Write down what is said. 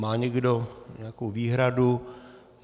Má někdo nějakou výhradu?